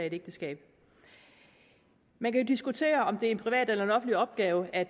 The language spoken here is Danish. ægteskab man kan diskutere om det er en privat eller offentlig opgave at